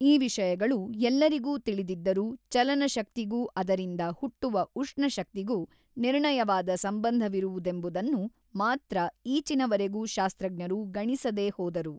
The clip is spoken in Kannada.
ಈ ವಿಷಯಗಳು ಎಲ್ಲರಿಗೂ ತಿಳಿದಿದ್ದರೂ ಚಲನಶಕ್ತಿಗೂ ಅದರಿಂದ ಹುಟ್ಟುವ ಉಷ್ಣಶಕ್ತಿಗೂ ನಿರ್ಣಯವಾದ ಸಂಬಂಧವಿರುವುದೆಂಬುದನ್ನು ಮಾತ್ರ ಈಚಿನವರೆಗೊ ಶಾಸ್ತ್ರಜ್ಞರು ಗಣಿಸದೇ ಹೋದರು.